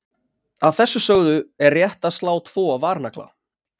Að þessu sögðu er rétt að slá tvo varnagla.